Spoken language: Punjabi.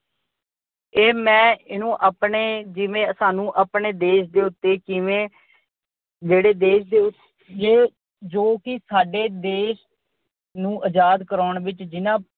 ਇਹ ਮੈਂ ਇਹਨੂੰ ਆਪਣੇ ਜਿਵੇਂ ਸਾਨੂੰ ਆਪਣੇ ਦੇਸ਼ ਦੇ ਉਤੇ ਕਿਵੇਂ ਜਿਹੜੇ ਦੇਸ਼ ਦੇ ਉੱਤੇ ਜੋ ਕਿ ਸਾਡੇ ਦੇਸ਼ ਨੂੰ ਆਜਾਦ ਕਰਵਾਉਣ ਵਿੱਚ ਜਿਹਨਾਂ